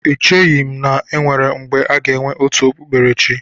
Echeghị m na-enwere mgbe aga enwe otu okpukperechi.